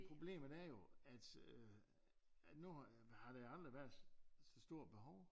Problemet er jo at øh at nu har der har aldrig været så stort behov